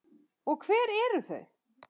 Og hver eru þau?